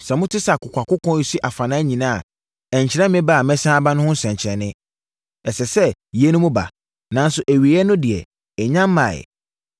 Sɛ mote sɛ akokoakoko resi afanan nyinaa a, ɛnkyerɛ me ba a mɛsane aba no ho nsɛnkyerɛnneɛ. Ɛsɛ sɛ yeinom ba, nanso awieeɛ no deɛ, ɛnnya mmaeɛ.